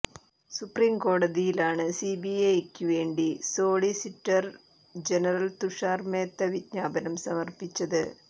സുപ്രീംകോടതിയിലാണ് സിബിഎസ്ഇക്ക് വേണ്ടി solicitor general Tushar Mehta വിജ്ഞാപനം സമർപ്പിച്ചത്